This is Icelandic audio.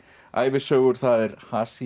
ævisögur það er